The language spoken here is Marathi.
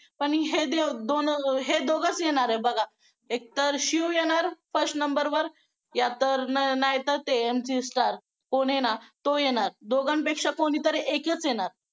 पण हे दोन हे दोघच येणार आहे बघा एक तर शिव येणार first number वर नाही तर MC Stan तो येणार दोघांपेक्षा कोणीतर एकच येणार